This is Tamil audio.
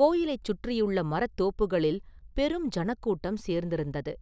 கோயிலைச் சுற்றியுள்ள மரத் தோப்புகளில் பெரும் ஜனக்கூட்டம் சேர்ந்திருந்தது.